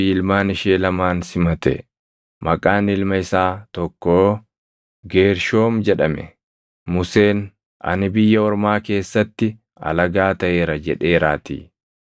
ilmaan ishee lamaan simate. Maqaan ilma isaa tokkoo Geershoom jedhame; Museen, “Ani biyya ormaa keessatti alagaa taʼeera” jedheeraatii.